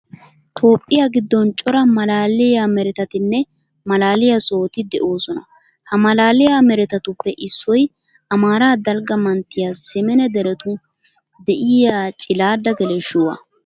Toophphiya giddon cora maalaaliya meretatinne maalaaliya sohoti de'oosona. Ha maalaaliya meretatuppe issoy amaara dalgga manttiyan semene deretun de'iya cilaadda geleshshuwa.